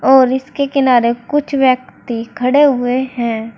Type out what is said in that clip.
और इसके किनारे कुछ व्यक्ति खड़े हुए हैं।